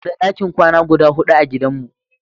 Muna da ɗakin kwana guda huɗu a gidan mu.